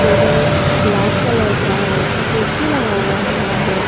Table black colour का है कुर्सी लगाया हुआ है।